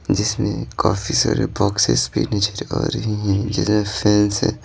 जिसमें काफी सारे बॉक्सेस भी नजर आ रही हैं जिसमें फैंस हैं।